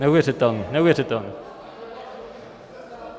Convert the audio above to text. Neuvěřitelný, neuvěřitelný.